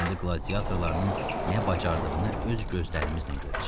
İndi qladiatorlarının nə bacardığını öz gözlərimizlə görəcəyik.